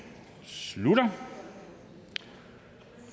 slutter